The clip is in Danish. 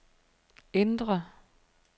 indre